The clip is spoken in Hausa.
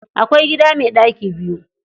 Akwai gida mai ɗaki biyu.